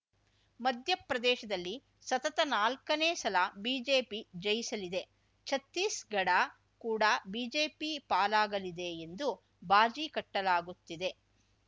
ಮಧ್ಯಪ್ರದೇಶದಲ್ಲಿ ಸತತ ನಾಲ್ಕನೇ ಸಲ ಬಿಜೆಪಿ ಜಯಿಸಲಿದೆ ಛತ್ತೀಸ್‌ಗಢ ಕೂಡ ಬಿಜೆಪಿ ಪಾಲಾಗಲಿದೆ ಎಂದು ಬಾಜಿ ಕಟ್ಟಲಾಗುತ್ತಿದೆ